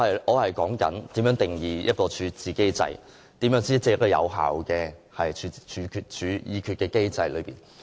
我正在說如何定義一個處置機制，如何才是有效的處置機制。